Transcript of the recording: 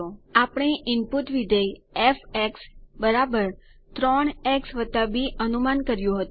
આપણે ઇનપુટ વિધેય f 3 x b અનુમાન કર્યું હતું